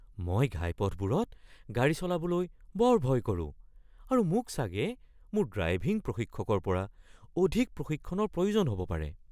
মই ঘাইপথবোৰত গাড়ী চলাবলৈ বৰ ভয় কৰোঁ আৰু মোক চাগে মোৰ ড্ৰাইভিং প্ৰশিক্ষকৰ পৰা অধিক প্ৰশিক্ষণৰ প্ৰয়োজন হ'ব পাৰে।